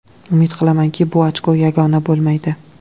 Umid qilamanki, bu ochko yagona bo‘lmaydi”.